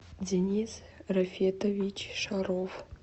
денис рафитович шаров